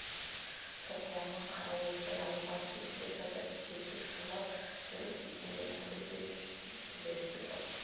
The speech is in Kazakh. шоқланы қара ойбай ауызға тепкілеп жатыр десіп шулап жүріп сүйсінгенінен күліп те жіберісті шоқ